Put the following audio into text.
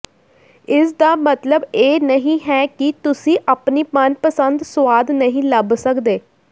ਇਸਦਾ ਮਤਲਬ ਇਹ ਨਹੀਂ ਹੈ ਕਿ ਤੁਸੀਂ ਆਪਣੀ ਮਨਪਸੰਦ ਸੁਆਦ ਨਹੀਂ ਲੱਭ ਸਕਦੇ